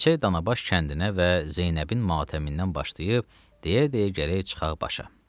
Keçək Danabaş kəndinə və Zeynəbin matəmindən başlayıb, deyə-deyə gələk çıxaq başa.